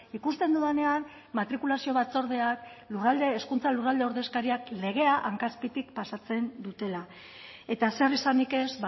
ikusten dudanean matrikulazio batzordeak lurralde hezkuntza lurralde ordezkariak legea hanka azpitik pasatzen dutela eta zer esanik ez